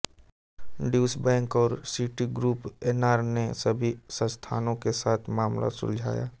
Deutsche Bank और Citigroup Enron ने सभी संस्थानों के साथ मामला सुलझाया